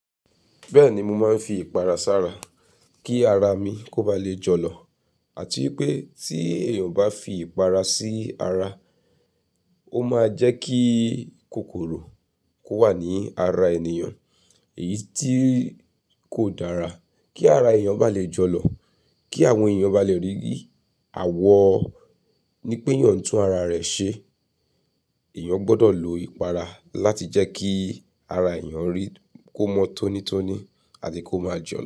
Bẹ́ẹ̀ni, mo máa ń fi ìpara sára kí ara mi kó bá le jọlọ. Àti pé tí èèyàn o bá fi ìpara sí ara, ó máa jẹ́ kí kòkòrò kó wà ní ara ènìyàn, èyí tí kò dára. Kí ara èèyàn bá lè jọlọ, kí àwọn èèyàn bá lè rí àwọ̀ ní péyàn n tún ara rẹ̀ ṣe, èèyàn gbọ́dọ̀ lo ìpara láti jẹ́ kí ara èèyàn rí kó mọ́ tónítóní àti kó má jọlọ.